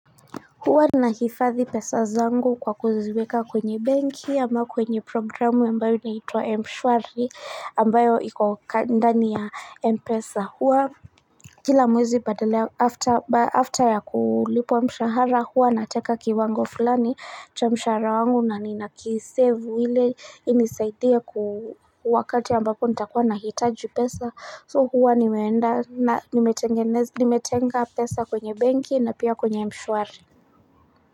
Huwa na hifadhi pesa zangu kwa kuziweka kwenye benki ama kwenye programu ambao inaitwa mshwari ambayo iko ndani ya mpesa huwa Kila mwezi badala after ya kulipwa mshahara huwa nateka kiwango fulani cha mshahara wangu na nina kisave ili inisaidhia ku wakati ambapo nitakuwa nahitaji pesa so huwa nimetenga pesa kwenye benki na pia kwenye mshwari.